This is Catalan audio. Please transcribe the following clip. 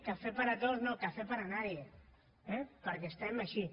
café para todos no café para nadie perquè estem així